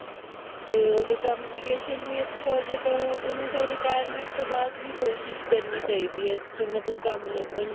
ਤੇ ਓਹਦੇ communication ਵੀ ਅੱਛਾ ਹੋਜੇ ਤਹ ਓਹਨੂੰ ਫਿਰ retirement ਟੋਹ ਬਾਅਦ ਵੀ ਕੋਸ਼ਿਸ਼ ਕਰਨੀ ਚਾਹੀਦੀ ਹੈ ਮਤਲਬ ਕਮ ਲਭਨ ਲਈ